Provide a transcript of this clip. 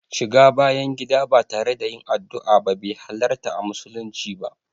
Shiga bayan gida ba tare da yin addua ba be halarta a musulunci ba.